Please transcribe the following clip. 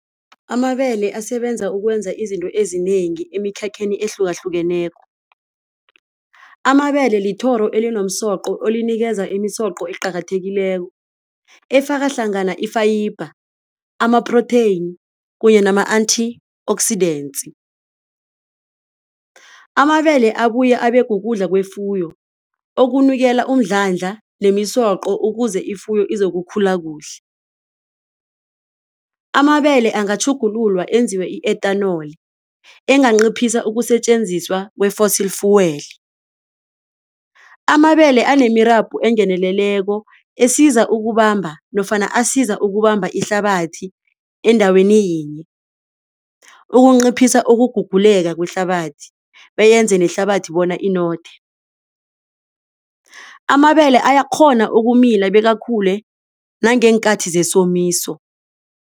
Amabele asebenza ukwenza izinto ezinengi emikhakheni ehlukahlukeneko. Amabele lithoro elinomsoqo elinikeza imisoqo eqakathekileko efakahlangana i-fiber ama-protein kunye nama-antioxidants. Amabele abuye abekukudla kwefuyo okunikela umdlandla nemisoqo ukuze ifuyo izokukhula kuhle. Amabele angatjhugululwa enziwe i-ethanol enganciphisa ukusetjenziswa kwe-fossil fuel. Amabele anemirabho engeneleleko esiza ukubamba nofana asiza ukubamba ihlabathi endaweni yinye ukunciphisa ukuguguleka kwehlabathi beyenze nehlabathi bona inothe. Amabele ayakghona ukumila bekakhule nageenkathi zesomiso.